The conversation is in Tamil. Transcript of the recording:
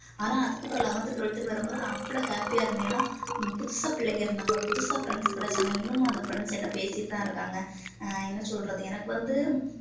ஆனா அதுக்கப்புறம் eleventh twelfth ன்னு வரும்போது நான் அவ்வளவு happy யா இருந்தேன் ஏன்னா புதுசா பிள்ளைங்க இருந்தாங்க புதுசா friends கிடைச்சாங்க இன்னமும் அந்த friends என்கிட்ட பேசிட்டுதான் இருக்காங்க என்ன சொல்றது எனக்கு வந்து